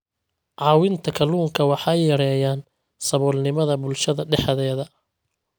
Caawinta kalluunka waxay yareeyaan saboolnimada bulshada dhexdeeda.